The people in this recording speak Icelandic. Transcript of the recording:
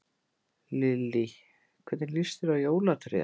Lillý: Hvernig lýst þér á jólatréð?